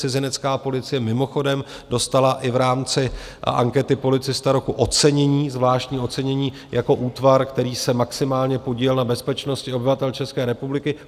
Cizinecká policie mimochodem dostala i v rámci ankety Policista roku ocenění zvláštní ocenění jako útvar, který se maximálně podílel na bezpečnosti obyvatel České republiky.